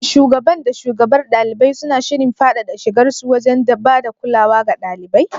Shin shugaban da shugabar ɗalibai suna shirin faɗaɗa shigarsu wajen ba da kulawa ga ɗalibai?